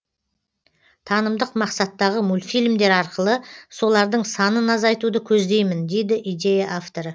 танымдық мақсаттағы мультфильмдер арқылы солардың санын азайтуды көздеймін дейді идея авторы